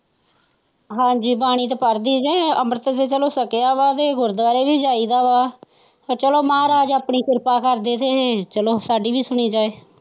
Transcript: ਹਾਜੀ ਬਾਣੀ ਤਾ ਪੜਦੀ ਹੈ ਅੰਮ੍ਰਿਤ ਵੀ ਚੱਲੋ ਸ਼ਕੀਆਂ ਵਾ ਤੇ ਗੁਰਦੁਵਾਰੇ ਵੀ ਜਾਈਦਾ ਵਾ ਪਰ ਚੱਲੋ ਮਹਾਰਾਜ ਆਪਣੀ ਕਿਰਪਾ ਕਰਦੀ ਚੱਲੋ ਸਦੈ ਵੀ ਸੁਣੀ ਜਾਏ।